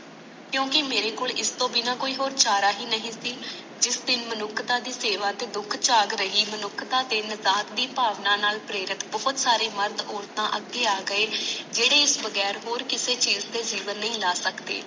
ਕਿਉਂਕਿ ਮਾਰੇ ਕੋਲ ਇਸਤੋਂ ਬਿਨਾ ਕੋਈ ਹੋਰ ਚਾਰਾ ਨਹੀਂ ਸੀ ਜਿਸ ਦਿਨ ਮਨੁੱਖਤਾ ਦੀ ਸੇਵਾ ਤੇ ਦੁੱਖ ਚਾਕ ਰਹੀ ਮਨੁੱਖਤਾ ਤੇ ਮਾਜਾਕ ਦੀ ਬਾਵਨਾ ਨਾਲ ਪਰੇਰਤ ਬਹੁਤ ਸਾਰੇ ਮਰਦ ਔਰਤ ਅਗੇ ਆ ਗਏ ਜਿਹਡ਼ੇ ਇਸਤੋਂ ਬਗੈਰ ਹੋਰ ਕੋਈ ਚੀਜ ਤੇ ਜੀਵਨ ਨਹੀਂ ਲੈ ਸਕਦੇ